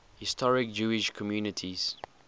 historic jewish communities